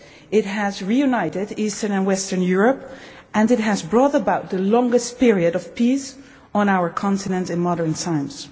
It has reunited Eastern and Western Europe and it has brought about the longest period of peace on our continent in modern times.